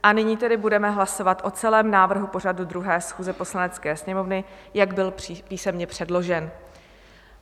A nyní tedy budeme hlasovat o celém návrhu pořadu 2. schůze Poslanecké sněmovny, jak byl písemně předložen.